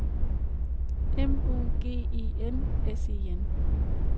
M O G E N S E N